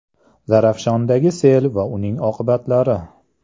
Zarafshondagi sel va uning oqibatlari.